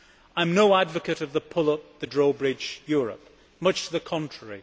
I am no advocate of the pull up, the drawbridge Europe much to the contrary.